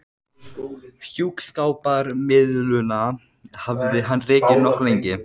Hjúskaparmiðlunina hafði hann rekið nokkuð lengi.